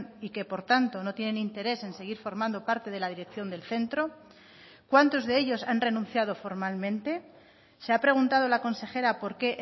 y que por tanto no tienen interés en seguir formando parte de la dirección del centro cuántos de ellos han renunciado formalmente se ha preguntado la consejera por qué